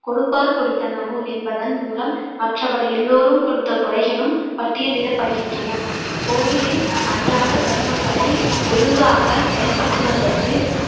கொடுப்பார் கொடுத்தனவும் என்பதன் மூலம் மற்றவர் எல்லாரும் கொடுத்த கொடைகளும் பட்டியலிடப்படுகின்றன கோவிலின் அன்றாட கருமங்களை ஒழுங்காக செயல்படுத்துவதற்கு